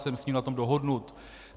Jsem s ním na tom dohodnut.